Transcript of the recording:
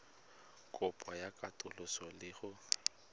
kopo ya katoloso le go